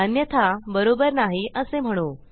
अन्यथा बरोबर नाही असे म्हणू